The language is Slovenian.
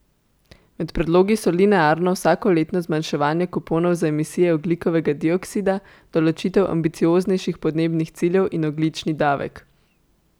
Med predlogi so linearno vsakoletno zmanjševanje kuponov za emisije ogljikovega dioksida, določitev ambicioznejših podnebnih ciljev in ogljični davek.